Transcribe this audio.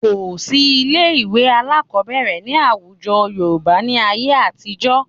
Kò sí ilé-ìwé alákọ̀ọ́bẹ̀rẹ̀ ní àwùjọ Yorùbá ní ayé àtijọ́